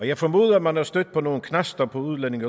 jeg formoder at man er stødt på nogle knaster på udlændinge